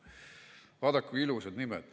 Vaadake, kui ilusad nimed.